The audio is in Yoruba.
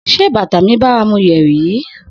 Se bata mi baramu yeri yi?